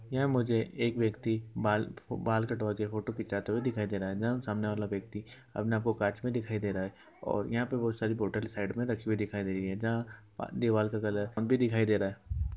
यहां मुझे एक व्यक्ति बाल बाल कटवाते फोटो खिचाते दिखाई दे रहा है। सामने वाला व्यक्ति जहां अपने आप को कांच में दिखाई दे रहा है। और यहां पर बोहत सारी बोतल साइड में रखी हुई दिखाई दे रही हैं। जहां अह दीवाल का कलर अब भी दिखाई दे रहा है।